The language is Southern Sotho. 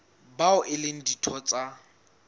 bao e leng ditho tsa